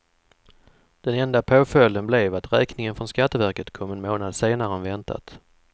Den enda påföljden blev att räkningen från skatteverket kom en månad senare än väntat.